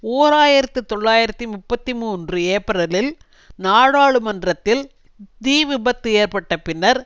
ஓர் ஆயிரத்தி தொள்ளாயிரத்தி முப்பத்து மூன்று ஏப்ரலில் நாடாளுமன்றத்தில் தீவிபத்து ஏற்பட்ட பின்னர்